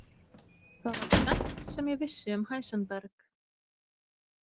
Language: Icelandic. Það var tvennt sem ég vissi um Heisenberg.